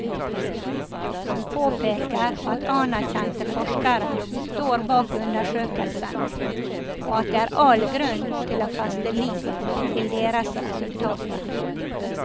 Han påpeker at anerkjente forskere står bak undersøkelsene, og at det er all grunn til å feste lit til deres resultater.